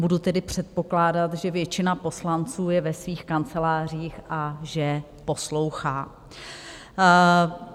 Budu tedy předpokládat, že většina poslanců je ve svých kancelářích a že poslouchá.